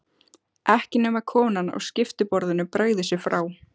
Ekki nema konan á skiptiborðinu bregði sér frá.